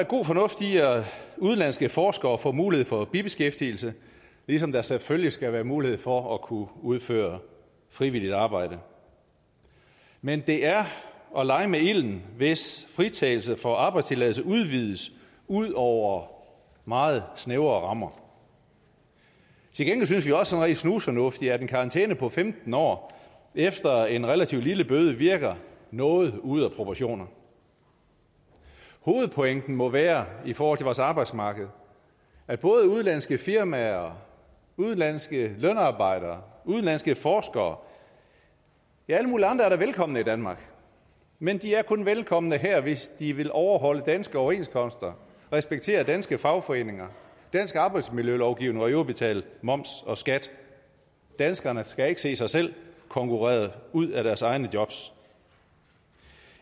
god fornuft i at udenlandske forskere får mulighed for bibeskæftigelse ligesom der selvfølgelig skal være mulighed for at kunne udføre frivilligt arbejde men det er at lege med ilden hvis fritagelse for arbejdstilladelse udvides ud over meget snævre rammer til gengæld synes vi jo også sådan rent snusfornuftigt at en karantæne på femten år efter en relativt lille bøde virker noget ude af proportioner hovedpointen må være i forhold vores arbejdsmarked at både udenlandske firmaer udenlandske lønarbejdere udenlandske forskere ja alle mulige andre da er velkomne i danmark men de er kun velkomne her hvis de vil overholde danske overenskomster respektere danske fagforeninger dansk arbejdsmiljølovgivning og i øvrigt betale moms og skat danskerne skal ikke se sig selv konkurreret ud af deres egne jobs